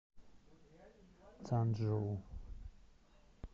цанчжоу